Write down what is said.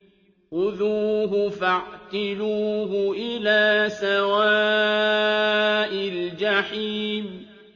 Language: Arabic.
خُذُوهُ فَاعْتِلُوهُ إِلَىٰ سَوَاءِ الْجَحِيمِ